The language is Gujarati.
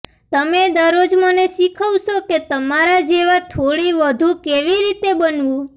તમે દરરોજ મને શીખવશો કે તમારા જેવા થોડી વધુ કેવી રીતે બનવું